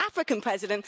African president.